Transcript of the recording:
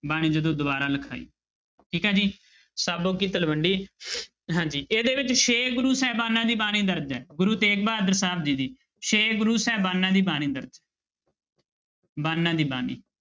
ਬਾਣੀ ਜਦੋਂ ਦੁਬਾਰਾ ਲਿਖਾਈ ਠੀਕ ਹੈ ਜੀ ਸਾਬੋ ਕੀ ਤਲਵੰਡੀ ਹਾਂਜੀ ਇਹਦੇ ਵਿੱਚ ਛੇ ਗੁਰੂ ਸਾਹਿਬਾਨਾਂ ਦੀ ਬਾਣੀ ਦਰਜ਼ ਹੈ ਗੁਰੂ ਤੇਗ ਬਹਾਦਰ ਸਾਹਿਬ ਜੀ ਦੀ ਛੇ ਗੁਰੂ ਸਹਿਬਾਨਾਂ ਦੀ ਬਾਣੀ ਦਰਜ਼ ਬਾਨਾਂ ਦੀ ਬਾਣੀ।